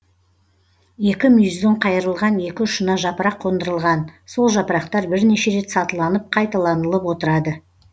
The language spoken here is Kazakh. екі мүйіздің қайырылған екі ұшына жапырақ қондырылған сол жапырақтар бірнеше рет сатыланып қайталанылып отырады